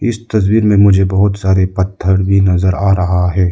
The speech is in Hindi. इस तस्वीर में मुझे बहुत सारे पत्थर भी नजर आ रहा है।